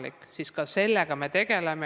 Kinnitan teile: ka seda infot me kogu aeg kogume.